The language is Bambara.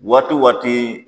Waati waati